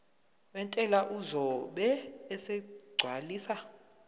wentela uzobe esegcwalisa